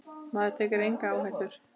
Maður tekur enga áhættu!